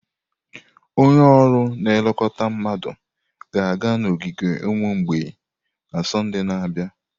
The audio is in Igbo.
Onye ọrụ na-elekọta mmadụ ga-aga n'ogige ụmụ mgbei na Sọnde na-abịa.